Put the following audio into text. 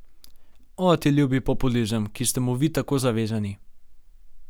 O, ti ljubi populizem, ki ste mu Vi tako zavezani!